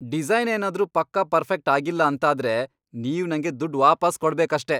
Design ಏನಾದ್ರೂ ಪಕ್ಕಾ perfect ಆಗಿಲ್ಲ ಅಂತಾದ್ರೆ, ನೀವ್ ನಂಗೆ ದುಡ್ಡ್ ವಾಪಸ್ ಕೊಡ್ಬೇಕಷ್ಟೇ.